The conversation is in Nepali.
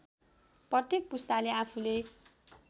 प्रत्येक पुस्ताले आफूले